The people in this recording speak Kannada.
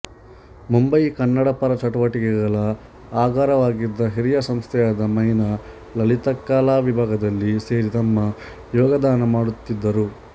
ಮುಂಬಯಿಯ ಕನ್ನಡಪರ ಚಟುವಟಿಕೆಗಳ ಆಗರವಾಗಿದ್ದ ಹಿರಿಯ ಸಂಸ್ಥೆಯಾದ ಮೈ ನ ಲಲಿತಕಲಾವಿಭಾಗದಲ್ಲಿ ಸೇರಿ ತಮ್ಮ ಯೋಗದಾನ ಮಾಡುತ್ತಿದ್ದರು